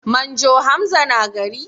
Manjo Hamza na gari?